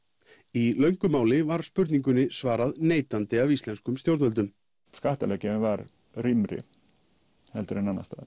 í löngu máli var spurningunni svarað neitandi af íslenskum stjórnvöldum skattalöggjöfin var rýmri en annars staðar